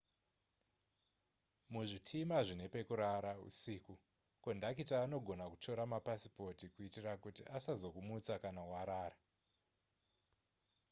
muzvitima zvine pekurara usiku kondakita anogona kutora mapasipoti kuitira kuti asazokumutsa kana warara